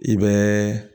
I bɛ